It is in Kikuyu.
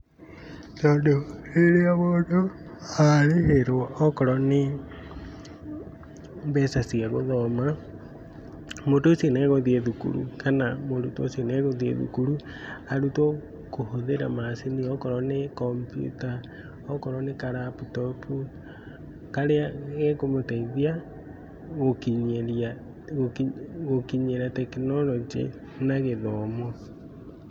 Tondũ rĩrĩa mũndũ arĩhĩrwo okorwo nĩ mbeca cia gũthoma, mũndũ ũcio nĩ egũthiĩ thukuru kana mũrutwo ũcio nĩ egũthiĩ thukuru, arutwo kũhũthira macini, okorwo nĩ kombiuta, okorwo nĩ ka laptop. Karĩa gekũmũteithia gũkinyĩria, gũkinyĩra tekinoronjĩ na gĩthomo.